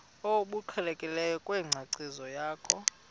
obuqhelekileyo kwinkcazo yakho